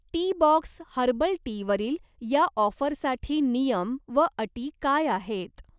Teabox herbal टीवरील या ऑफरसाठी नियम व अटी काय आहेत?